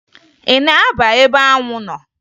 Ị na-aba ebe anwụ nọ?